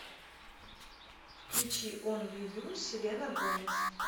включи онли ю селена гомез